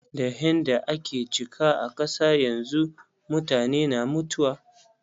Da hain da ake ciki a kasa yanzu, mutane na mutuwa.